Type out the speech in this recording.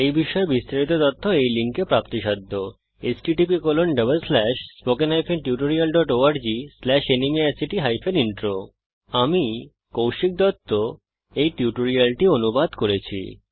এই বিষয়ে বিস্তারিত তথ্য এই লিঙ্কে প্রাপ্তিসাধ্য httpspoken tutorialorgNMEICT Intro আমি কৌশিক দত্ত এই টিউটোরিয়ালটি অনুবাদ করেছি